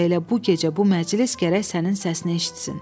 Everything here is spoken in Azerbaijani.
Və elə bu gecə bu məclis gərək sənin səsini eşitsin.